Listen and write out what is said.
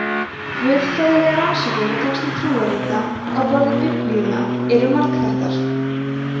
guðfræðilegar rannsóknir á textum trúarrita á borð við biblíuna eru margþættar